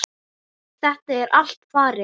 Þetta er allt farið.